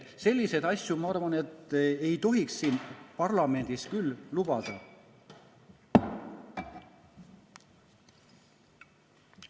Selliseid asju, ma arvan, ei tohiks siin parlamendis küll lubada.